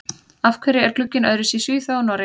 Af hverju er glugginn öðruvísi í Svíþjóð og Noregi?